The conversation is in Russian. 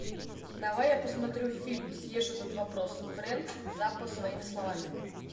давай я посмотрю фильм съешь этот вопрос фрэнк заппа своими словами